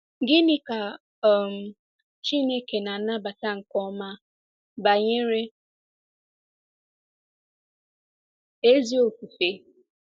Gịnị ka um Chineke na-anabata nke ọma banyere ezi ofufe?